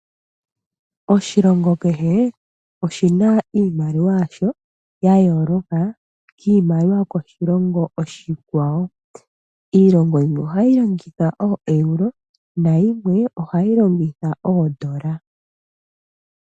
Oshilongo kehe oshi na iimaliwa yasho ya yooloka kiimaliwa yokoshilongo oshikwawo. Iilongo yimwe ohayi longitha ooEuro, nayimwe ohayi longitha oodola.